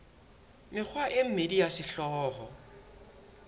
mekgwa e mmedi ya sehlooho